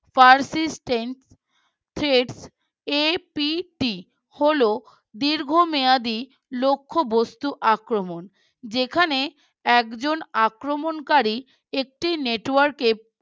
Percistant APT হল দীর্ঘ মেয়াদী লক্ষ্যবস্তু আক্রমণ যেখানে একজন আক্রমণকারী একটি Network এ